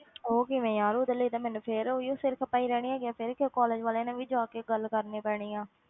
ਉਹ ਕਿਵੇਂ ਯਾਰ, ਉਹਦੇ ਲਈ ਤੇ ਮੈਨੂੰ ਫਿਰ ਉਹੀਓ ਸਿਰ ਖਪਾਈ ਰਹਿਣੀ ਹੈਗੀ ਹੈ, ਫਿਰ ਕਿਉਂ college ਵਾਲਿਆਂ ਨਾਲ ਵੀ ਜਾ ਕੇ ਗੱਲ ਕਰਨੀ ਪੈਣੀ ਆਂ,